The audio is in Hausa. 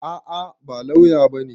A'a, ba lauya bane.